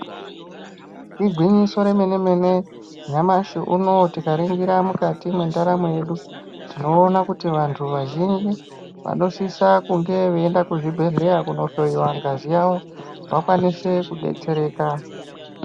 Igwinyiso remene-mene yamashi unouyu tikaringira mukati mendaramo yedu, tinoona kuti vantu vazhinji vanosisa kunge veienda kuzvibhedhleya kunohloiwa ngazi yavo vakwanise kubetsereka.